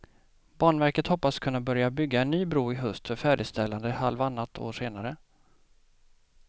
Banverket hoppas kunna börja bygga en ny bro i höst för färdigställande halvannat år senare.